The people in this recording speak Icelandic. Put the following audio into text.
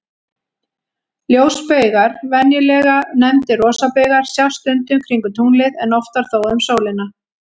Ljósbaugar, venjulega nefndir rosabaugar, sjást stundum kringum tunglið, en oftar þó um sólina.